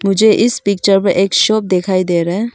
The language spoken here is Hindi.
मुझे इस पिक्चर में एक शॉप दिखाई दे रा है।